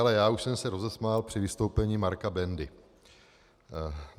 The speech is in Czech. Ale já už jsem se rozesmál při vystoupení Marka Bendy.